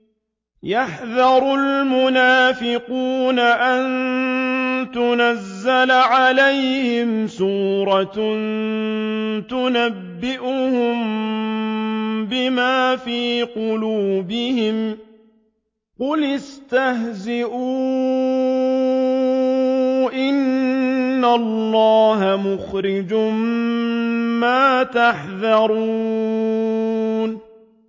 يَحْذَرُ الْمُنَافِقُونَ أَن تُنَزَّلَ عَلَيْهِمْ سُورَةٌ تُنَبِّئُهُم بِمَا فِي قُلُوبِهِمْ ۚ قُلِ اسْتَهْزِئُوا إِنَّ اللَّهَ مُخْرِجٌ مَّا تَحْذَرُونَ